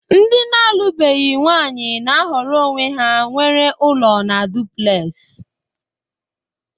Ndi na alu beghi nwanyi na-ahọrọ onwe ha nwere ụlọ na Duplex